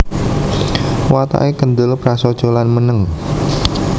Watake kendhel prasaja lan meneng